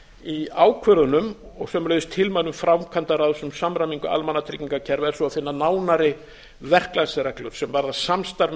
í ákvörðunum og sömuleiðis tilmælum framkvæmdaráðs um samræmingu almannatryggingakerfa er svo að finna nánari verklagsreglur sem varða samstarf